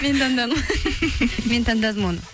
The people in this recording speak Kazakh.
мен таңдадым мен таңдадым оны